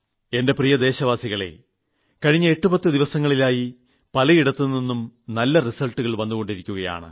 എന്റെ പ്രിയദേശവാസികളെ കഴിഞ്ഞ എട്ടുപത്ത് ദിവസങ്ങളിലായി പലയിടത്തുനിന്നും നല്ല റിസൾട്ടുകൾ വന്നുകൊണ്ടിരുക്കുകയാണ്